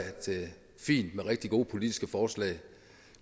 fint med rigtig gode politiske forslag